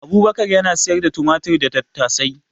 Abubakar yana siyar da tumatir da tattasai